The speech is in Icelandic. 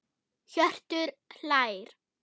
Hjörtur hlær.